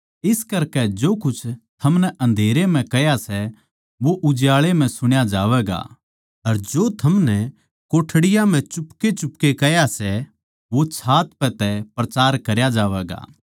इस करकै जो कुछ थमनै अन्धेरे म्ह कह्या सै वो उजाळै म्ह सुण्या जावैगा अर जो थमनै कोठड़ियाँ म्ह चुपकेचुपके कह्या सै वो छात पै तै प्रचार करया जावैगा